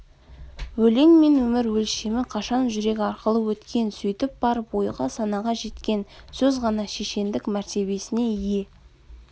өлең мен өмір өлшемі қашан жүрек арқылы өткен сөйтіп барып ойға санаға жеткен сөз ғана шешендік мәртебесіне ие